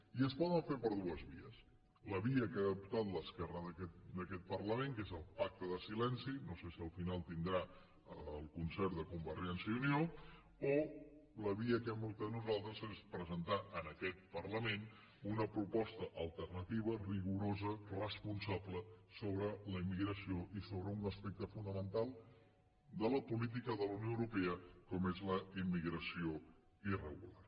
i es pot fer per dues vies la via que ha optat l’esquerra d’aquest parlament que és el pacte de silenci no sé si al final tindrà el concert de convergència i unió o la via que hem optat nosaltres que és presentar en aquest parlament una proposta alternativa rigorosa responsa·ble sobre la immigració i sobre un aspecte fonamental de la política de la unió europea com és la immigració irregular